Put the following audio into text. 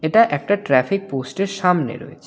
এটা একটা ট্রাফিক পোস্টের সামনে রয়েছে।